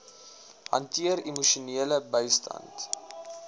hanteer emosionele bystand